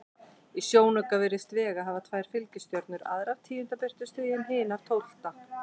Í sjónauka virðist Vega hafa tvær fylgistjörnur, aðra af tíunda birtustigi en hina af tólfta.